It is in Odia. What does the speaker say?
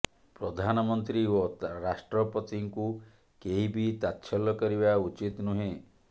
ପ୍ରଧାନମନ୍ତ୍ରୀ ଓ ରାଷ୍ଟ୍ରପତିଙ୍କୁ କେହି ବି ତାତ୍ସଲ୍ୟ କରିବା ଉଚିତ୍ ନୁହେଁ